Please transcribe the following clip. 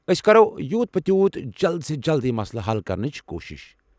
أسۍ کرو یوُت پِہِ تیوُت جلد یہِ مسلہٕ حل کرنٕچ کوُشش۔